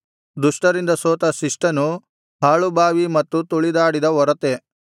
ದುಷ್ಟರಿಂದ ಸೋತ ಶಿಷ್ಟನು ಹಾಳು ಬಾವಿ ಮತ್ತು ತುಳಿದಾಡಿದ ಒರತೆ